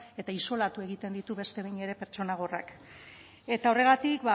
eta isolatu egiten ditu beste behin ere pertsona gorrak eta horregatik